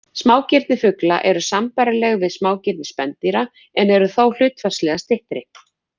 Smágirni fugla eru sambærileg við smágirni spendýra en eru þó hlutfallslega styttri.